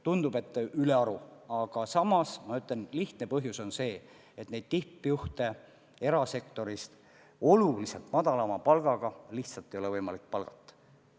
Tundub, et palka on ülearu, aga samas ma ütlen, et lihtne põhjus on see, et tippjuhte erasektorist oluliselt madalama palgaga lihtsalt ei ole võimalik palgata.